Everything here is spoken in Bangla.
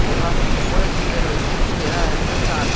আবার উপরের দিকে রয়েছে ঘেরা একটা চাল।